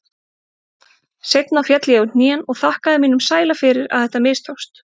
Seinna féll ég á hnén og þakkaði mínum sæla fyrir að þetta mistókst.